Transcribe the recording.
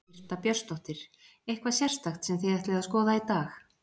Birta Björnsdóttir: Eitthvað sérstakt sem þið ætlið að skoða í dag?